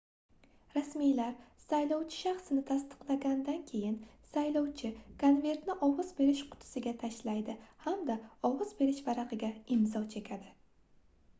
rasmiylar saylovchi shaxsini tasdiqlaganidan keyin saylovchi konvertni ovoz berish qutisiga tashlaydi hamda ovoz berish varagʻiga imzo chekadi